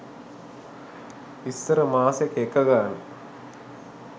ඉස්සර මාසෙක එක ගානේ